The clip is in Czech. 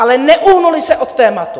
Ale neuhnuli se od tématu.